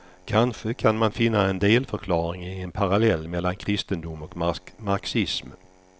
Kanske kan man finna en delförklaring i en parallell mellan kristendom och marxism.